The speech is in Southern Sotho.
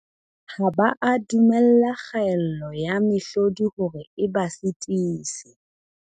Ha ba a dumella kgaello ya mehlodi hore e ba sitise.